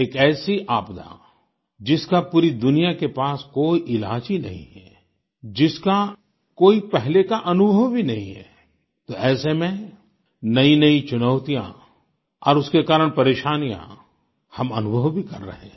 एक ऐसी आपदा जिसका पूरी दुनिया के पास कोई इलाज ही नहीं है जिसका कोई पहले का अनुभव ही नहीं है तो ऐसे में नयीनयी चुनौतियाँ और उसके कारण परेशानियाँ हम अनुभव भी कर रहें हैं